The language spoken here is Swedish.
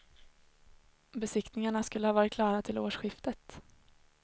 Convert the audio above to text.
Besiktningarna skulle ha varit klara till årsskiftet.